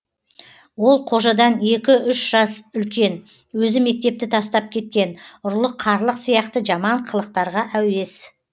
ол қожадан екі үш жас үлкен өзі мектепті тастап кеткен ұрлық қарлық сияқты жаман қылықтарға әуес